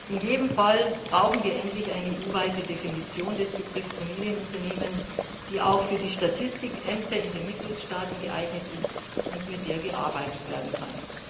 In jedem Fall brauchen wir endlich eine EU weite Definition des Begriffs Familienunternehmen, die auch für die Statistikämter in den Mitgliedstaaten geeignet ist und mit der gearbeitet werden kann.